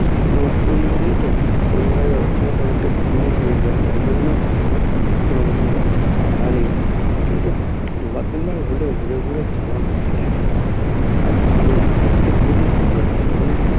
লোকজন যায় তো ঐভাবে অতগুলো লোকে ভিড় হয়ে যায় তাই জন্য কোনোরকম ব্যবস্থা করা নেই কিন্তু কিন্তু হলেও ঘুরে ঘুরে যাওয়ার মজাটাই আলাদা আর ভালো লাগে দেখতে খুবই সুন্দর লাগে মানে